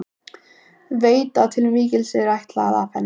Veit að til mikils er ætlast af henni.